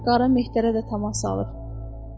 Hətta qara Mehterə də təmas salır.